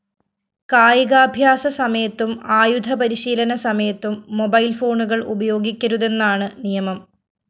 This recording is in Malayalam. കായികാഭ്യാസ സമയത്തും ആയുധപരിശീലന സമയത്തും മൊബൈൽ ഫോണുകള്‍ ഉപയോഗിക്കരുതെന്നാണ് നിയമം